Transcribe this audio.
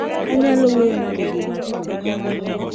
anyalo wuoyo nade gi ng'atni